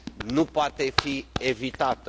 nu poate fi evitată.